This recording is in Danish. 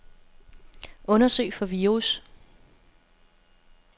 Undersøg for virus.